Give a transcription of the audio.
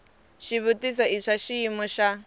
xivutiso i swa xiyimo xa